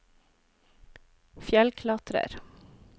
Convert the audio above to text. fjellklatrer